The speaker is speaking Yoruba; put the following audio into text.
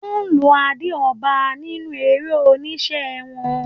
Wọ́n lo adé ọba nínú eré-oníṣe wọn.